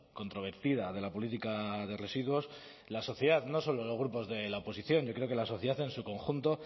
controvertida de la política de residuos la sociedad no solo los grupos de la oposición yo creo que la sociedad en su conjunto